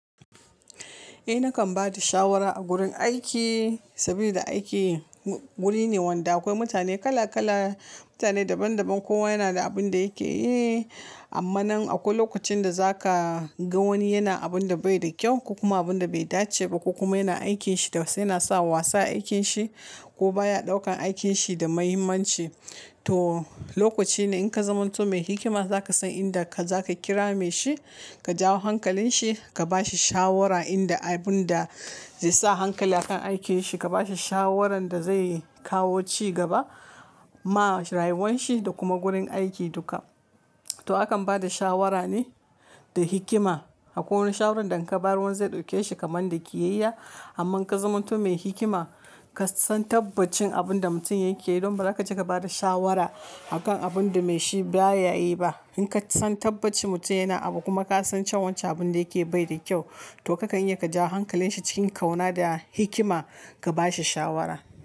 Ae nakan bada shawara a gurin aiki sabili da aiki guri ne wanda aƙwai mutane kala kala, mutane daban daban. Kowa yana da abin da yake yi amma nan aƙwai lokacin da zaka ga wani yana abin da bai da kyau ko kuma abin da bai dace ba ko kuma yana aikinshi yana sa wasa aikin shi ko baya ɗaukan aikin shi da muhimmanci. To, lokaci ne in ka zamanto mai hikima zaka san inda ka zaka kira mai shi, ka jawo hankalin shi, ka bashi shawara inda abin da zaisa hankali akan aikinshi. Ka bashi shawarar da zai kawo ci gaba ma rayuwar shi da kuma gurin aiki duka. To, akan ba da shawara ne da hikima. Aƙwai wani shawarar da inka bayar zai ɗauke shi kamar da kiyayya. Amma in ka zamanto mai hikima, kasan tabbacin abin da mutum yake yi, don baza kaje ka bada shawara a kan abin da mai shi ba yayi ba. In kasan tabbacin mutum yana abu kuma kasan cewa wancan abin da yake yi baida ƙyau, to kakan iya ka jawo hankalin shi cikin ƙauna da hikima ka bashi shawara.